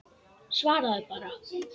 Svaraðu bara.